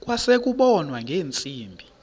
kwase kubonwa ngeentsimbi